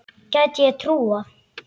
Gæti ég trúað.